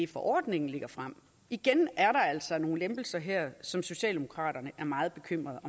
forordningen lægger frem igen er altså nogle lempelser her som socialdemokraterne er meget bekymrede